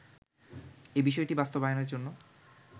এ বিষয়টি বাস্তবায়নের জন্য